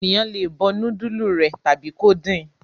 Ènìyàn le bọ núdúlù rẹ̀ tàbí kó din.